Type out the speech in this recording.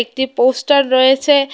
একটি পোস্টার রয়েছে।